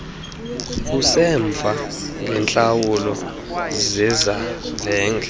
usemva ngeentlawulo zezavenge